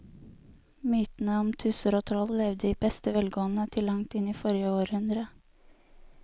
Mytene om tusser og troll levde i beste velgående til langt inn i forrige århundre.